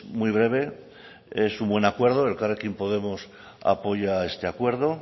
muy breve es un buen acuerdo elkarrekin podemos apoya este acuerdo